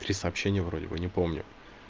три сообщения вроде бы не помню